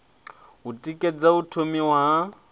u tikedza u thomiwa ha